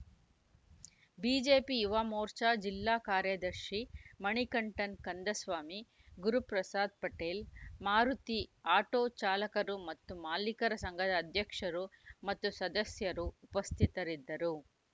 BGP Yuva Morcha ಜಿಲ್ಲಾ ಕಾರ್ಯದರ್ಶಿ Manikantan Kandaswamy Guruprasad Patel Maruti auto ಚಾಲಕರು ಮತ್ತು ಮಾಲೀಕರ ಸಂಘದ ಅಧ್ಯಕ್ಷರು ಮತ್ತು ಸದಸ್ಯರು ಉಪಸ್ಥಿತರಿದ್ದರು